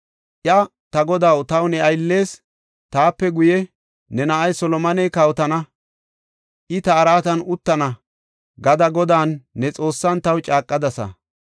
Iya, “Ta godaw, taw ne ayllees, ‘Taape guye ne na7ay Solomoney kawotana; I ta araatan uttana’ gada Godan, ne Xoossan, taw caaqadasa.